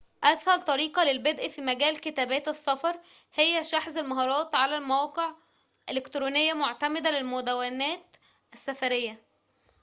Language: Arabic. أسهل طريقة للبدء في مجال كتابات السفر هي شحذ المهارات على موقع إلكتروني معتمد للمدوّنات السفريّة